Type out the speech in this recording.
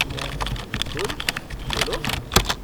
बिलकुल, ये लो।